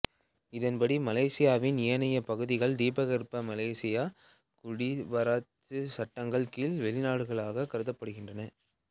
இதன்படி மலேசியாவின் ஏனைய பகுதிகள்தீபகற்ப மலேசியா குடிவரவுச் சட்டங்களின் கீழ் வெளிநாடுகளாகக் கருதப்படுகின்றன